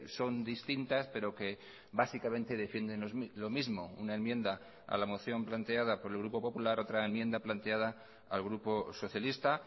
son distintas pero que básicamente defienden lo mismo una enmienda a la moción planteada por el grupo popular otra enmienda planteada al grupo socialista